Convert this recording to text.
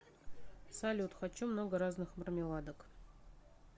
салют хочу много разных мармеладок